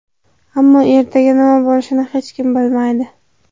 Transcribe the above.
Ammo ertaga nima bo‘lishini hech kim bilmaydi”.